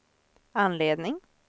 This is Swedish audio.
anledning